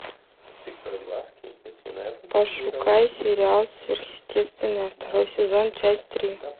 пошукай сериал сверхъестественное второй сезон часть три